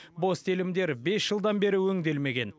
бос телімдер бес жылдан бері өңделмеген